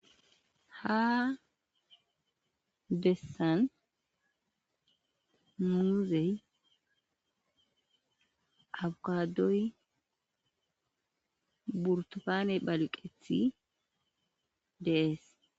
ha dessan muzey abkadoy burtofaane balqethi dees